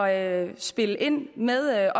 at spille ind med